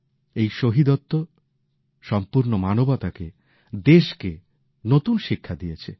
এই শহীদত্ব সম্পূর্ণ মানবতাকে দেশকে নতুন শিক্ষা দিয়েছে